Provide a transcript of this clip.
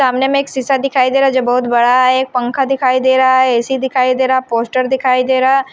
सामने में एक शीशा दिखाई दे रहा है जो बहुत बड़ा है एक पंखा दिखाई दे रहा है ए_सी दिखाई दे रहा है पोस्टर दिखाई दे रहा है।